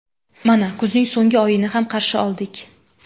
Mana kuzning so‘nggi oyini ham qarshi oldik.